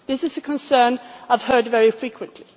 This is a concern I have heard very frequently.